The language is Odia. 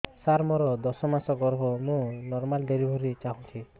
ସାର ମୋର ଦଶ ମାସ ଗର୍ଭ ମୁ ନର୍ମାଲ ଡେଲିଭରୀ ଚାହୁଁଛି